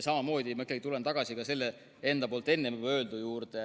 Ma tulen tagasi enda enne öeldu juurde.